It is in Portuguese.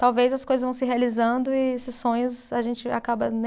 Talvez as coisas vão se realizando e esses sonhos, a gente acaba nem